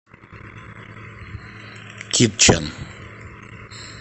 китчен